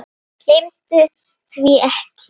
Gleymdu því ekki.